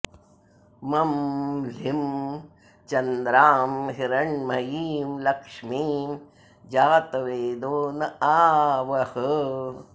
मं ह्लीं चन्द्रां हिरण्मयीं लक्ष्मीं जातवेदो न आवह